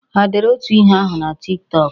Ha dere otu ihe ahụ na Tik Tọk?